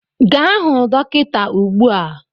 Gaa hụ dọkịta ugbu a!